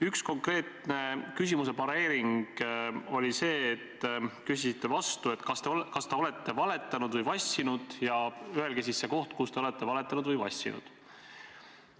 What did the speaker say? Üks konkreetne küsimuse pareering oli see, et te küsisite vastu, kas te olete valetanud või vassinud, ja öelgu me siis see koht, kus te olete valetanud või vassinud.